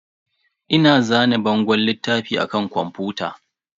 Ina zane bangon littafi a kan kwamfuta.